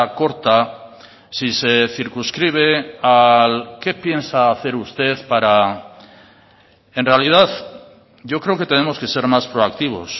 corta si se circunscribe al qué piensa hacer usted para en realidad yo creo que tenemos que ser más proactivos